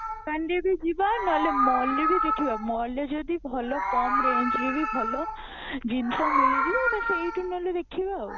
ଦୋକାନ ଯଦି ଯିବା ନହେଲେ mall ରେ ବି ଦେଖିବା mall ରେ ଯଦି ଭଲ କମ range ରେ ହିଁ ଭଲ ଜିନିଷ ମିଳିଯିବ ତ ସେଇଠୁ ଅହେଲ ଦେଖିବା ଆଉ